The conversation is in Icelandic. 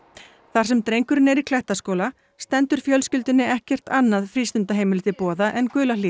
þar sem drengurinn er í Klettaskóla stendur fjölskyldunni ekkert annað frístundaheimili til boða en